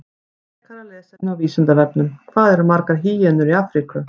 Frekara lesefni á Vísindavefnum: Hvað eru margar hýenur í Afríku?